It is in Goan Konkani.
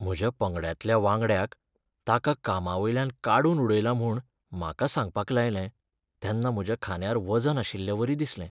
म्हज्या पंगडांतल्या वांगड्याक ताका कामावयल्यान काडून उडयला म्हूण म्हाका सांगपाक लायलें तेन्ना म्हज्या खांद्यार वजन आशिल्लेवरी दिसलें.